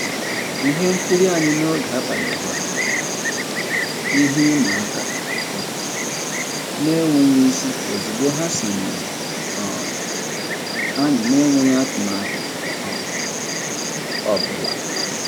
Ihe nkiri anyị n'oge abalị ghọọrọ ihe ịma aka um n'enweghị isi ozigbo ha sonyere um anyị n'enweghị atụmatụ um ọbụla.